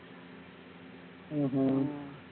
உம் ஹம்